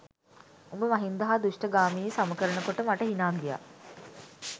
උඹ මහින්ද හා දුෂ්ඨ ගාමිණි සම කරන කොට මට හිනා ගියා